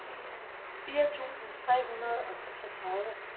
fire tusind tre hundrede og seksogtredive